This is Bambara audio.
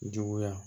Juguya